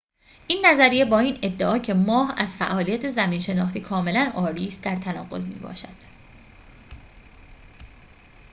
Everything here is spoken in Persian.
این نظریه با این ادعا که ماه از فعالیت زمین‌شناختی کاملاً عاری است در تناقض می‌باشد